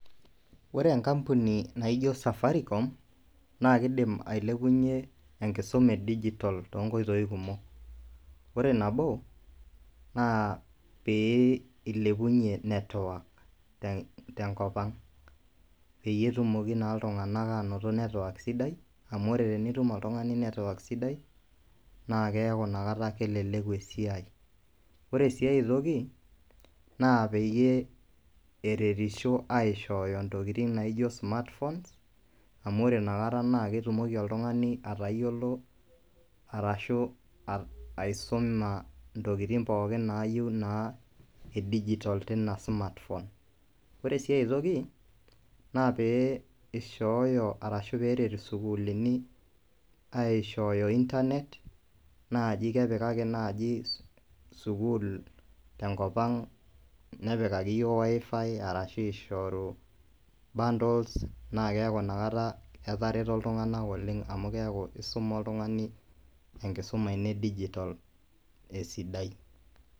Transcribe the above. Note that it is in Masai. Ore enkampuni naaijo safaricom naa kiidim ailepunyie enkisuma e digital too nkoitoi kumok. Ore nabo naa pee ilepunyie network tenkopang' peyie etumoki naa iltunganak aanoto sidai amu ore tenitum oltungani network sidai naa keeku nakata keleleku esiai, ore sii ai toki naa peyie eritisho aishooyo intokitin naijo smartphones amu ore nakata naa ketumoki oltungani atayiolo arashu aisuma intokitin pookin niyieu naa e digital teina smartphones. Ore ai toki naa pee ishooyo arashu peeret isukuulini aishooyo internet naaji kepikaki naaji sukuul tenkopang',nepikaki iyiook Wifi arashu ishoru bundles naa keeku nakata etareto iltunganak oleng' amu isuma oltungani enkisuma ino e digital esidai.